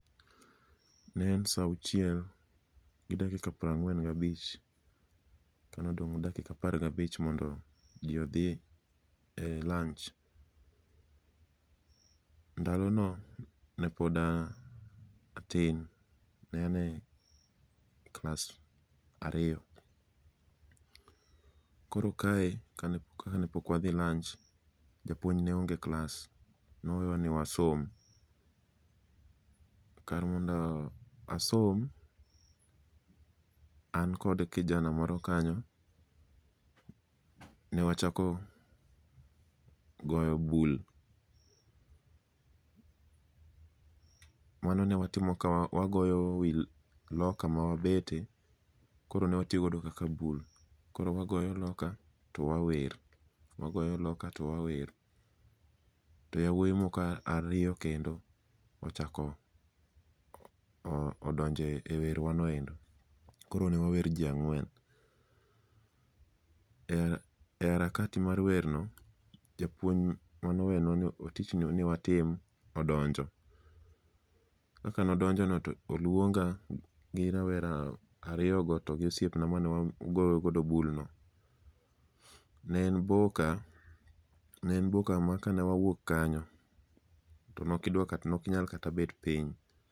Ne en sa auchiel gi dakika prang'wen gabich, ka nodong' dakika apar gabich mondo ji odhi e lanch. Ndalono nepod a atin, ne ane klas ariyo. Koro kae ka ne pok wadhi lanch, japuony ne onge e klas, nowewa ni wasom. Kar mondo asom, an kod kijana moro kanyo, ne wachako goyo bul. Mano ne watimo ka wagoyo wi loka ma wabete, koro ne watiyo godo kaka bul. Koro wagoyo loka to wawer, wagoyo loka to wawer. To yawuoyi moko ariyo kendo ochako odonje e werwa no endo. Koro ne wawer ji ang'wen, e harakati mar wer no, japuony manowenwa tich no ni watim odonjo. Kaka nodonjono to olwonga gi rawera ariyogo togi osiepna mane wagoyogo bul no. Ne en boka, ne en boka ma ka ne wawuok kanyo, to nokidwa kata nokinyal kata bet piny.